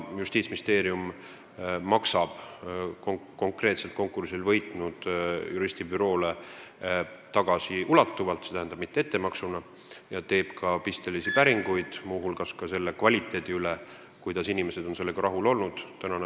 Justiitsministeerium maksab konkursi võitnud juristibüroole tagasiulatuvalt, st mitte ettemaksuna, ja teeb ka pistelisi päringuid, muu hulgas õigusabi kvaliteedi ja inimeste rahulolu kohta.